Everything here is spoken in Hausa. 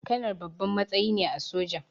Kanar babban matsayi ne a soja